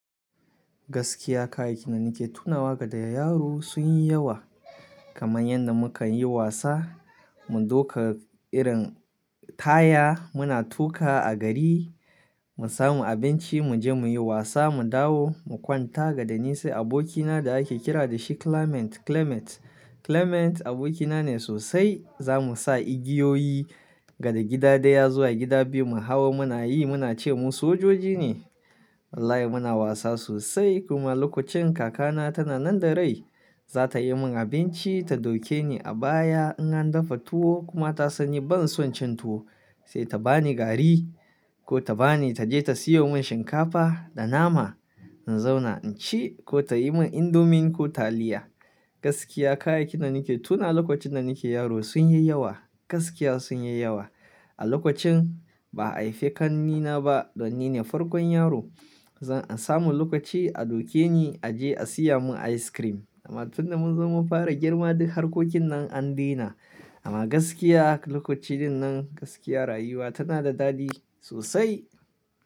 Gaskiya, kayayyakin da nake tunawa da yaro sun yi yawa. Kamar yadda mukan yi wasa, mun duka irin taya muna tuka a gari, mun samu abinci, mu je muyi wasa, mu dawo, mu kwanta. Da nisai abokina da ake kira da shi Clement, Clement. Clement abokina ne sosai. Za mu sa igiyoyi daga gida ɗaya zuwa gida biyu mu hawa muna yi, muna ce mu sojoji ne. Wallahi muna wasa sosai. Kuma lokacin kakana tana nan da rai, za ta yi min abinci, ta duke ni a baya in an dafa tuwo kuma ta sani ban son cin tuwo, sai ta bani gari ko ta bani ta je ta siyo min shinkafa da nama in zauna in ci ko ta yi min indomie ko taliya. Gaskiya kayayyakin da nake tuna lokacin da nake yaro sun yi yawa. Gaskiya sun yi yawa. A lokacin ba a haife ƙannena ba dan nine farkon yaro. Zan samu lokaci a duke ni a je a siya mun ice cream. Amma tun da munzo mun fara girma duk harkokin nan an dena. Amma gaskiya lokaci dinnan gaskiya rayuwa tana da daɗi sosai.